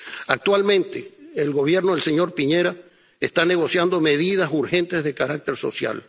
Actualmente el Gobierno del señor Piñera está negociando medidas urgentes de carácter social.